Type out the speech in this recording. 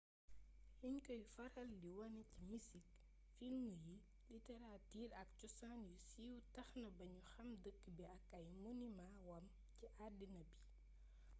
liñ koy faral di wone ci misik filmu yi literaatir ak cosaan yu siiw tax na bañu xàm dëkk bi ak ay monimaa wam ci addina bi